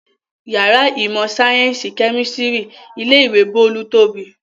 Ìyàrá ìmọ̀-sáyẹ́ńsì kẹ́mísítírì ilé-ìwé Bólú tóbi.